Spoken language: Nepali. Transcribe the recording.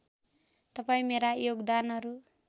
तपाईँ मेरा योगदानहरू